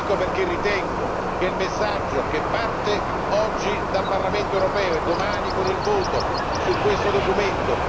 Ecco perché ritengo importante il messaggio che parte oggi dal Parlamento europeo e domani con il voto su questo documento.